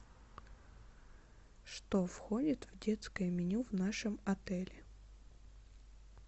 что входит в детское меню в нашем отеле